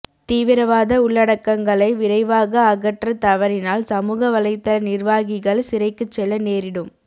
தீவிரவாத உள்ளடக்கங்களை விரைவாக அகற்றத் தவறினால் சமூக வலைத்தள நிர்வாகிகள் சிறைக்குச் செல்ல நேரிடும்